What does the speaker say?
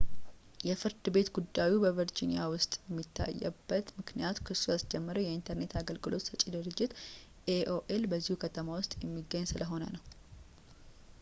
የፍርድ ቤት ጉዳዩ በvirginia ውስጥ የታየበት ምክንያት ክሱን ያስጀመረው የኢንተርኔት አገልግሎት ሰጪው ድርጅት aol በዚሁ ከተማ ውስጥ የሚገኝ ስለሆነ ነው